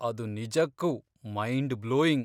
ಅದು ನಿಜಕ್ಕೂ mind blowing.